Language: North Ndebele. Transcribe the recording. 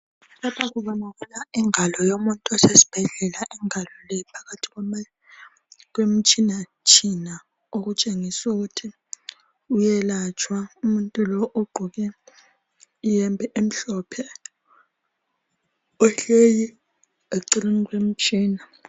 Lapha kubonakala ingalo yomuntu osesibhedlela. lngalo le iphakathi kwama, kwemtshinatshina. Okutshengiswa ukuthi uyelatshwa umuntu lo, ogqoke iyembe emhlophe, ohleli eceleni kwemtshina.